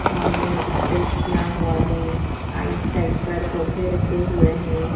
सामने स्टेज बना हुआ है आइट साइड पैड़ पौधे रखे हुए हैं।